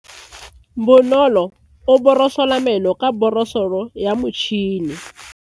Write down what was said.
Bonolo o borosola meno ka borosolo ya motšhine.